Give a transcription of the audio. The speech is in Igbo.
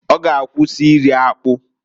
Ọ g'akwụsị iri akpụ.